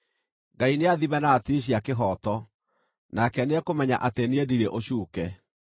Ngai nĩathime na ratiri cia kĩhooto, nake nĩekũmenya atĩ niĩ ndirĩ ũcuuke;